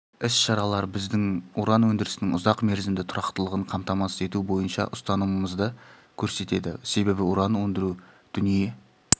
іс-шаралар біздің уран өндірісінің ұзақ мерзімді тұрақтылығын қамтамасыз ету бойынша ұстанымымызды көрсетеді себебі уран өндіру дүние